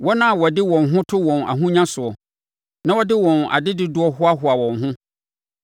wɔn a wɔde wɔn ho to wɔn ahonya soɔ na wɔde wɔn adedodoɔ hoahoa wɔn ho?